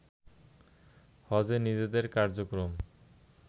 হজে নিজেদের কার্যক্রম